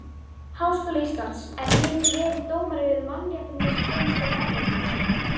Háskóla Íslands, en hinn verið dómari við Mannréttindadómstól Evrópu